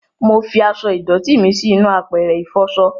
Mọ fí aṣọ ìdòtí mí sí inú àpẹrẹ ifọṣọ